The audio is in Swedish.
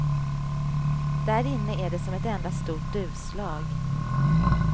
Därinne är det som ett enda stort duvslag.